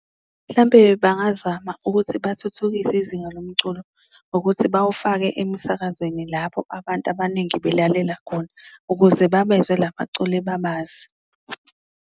Mhlampe bangazama ukuthi bathuthukise izinga lomculo ngokuthi bawufake emisakazweni, lapho abantu abaningi belalela khona ukuze babezwe la baculi babazi.